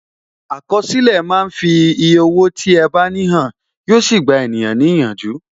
Àkọsílẹ̀ máa ń fi eye owó tí ẹ bá ní hàn, yo sì gba ènìyàn ní ìyànjú.